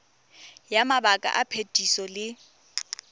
ya mabaka a phetiso le